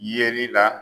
Yeli la